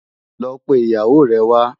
Lò pé iyáwó rè wá